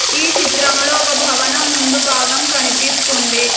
ఈ చిత్రంలో ఒక భవనం ముందు భాగం కనిపిస్తుంది.